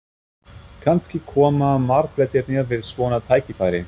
Kannski koma marblettirnir við svona tækifæri?